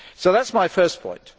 That is my first point.